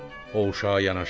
O uşağa yanaşdı.